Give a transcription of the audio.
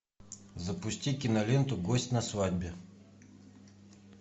запусти киноленту гость на свадьбе